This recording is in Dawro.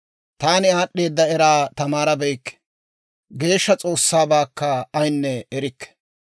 Taani aad'd'eeda eraa tamaarabeykke; Geeshsha S'oossaabaakka ayaanne erikke.